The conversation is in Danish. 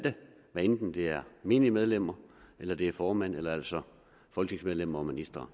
enten det er menige medlemmer eller det er formænd eller altså folketingsmedlemmer og ministre